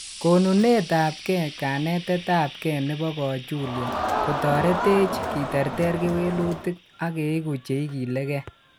Konunet ap ke, kanetet ap ke nebo kiochulyo kotoreteech kiterter kewelutik ak keigu che igili kee.